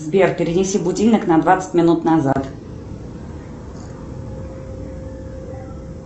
сбер перенеси будильник на двадцать минут назад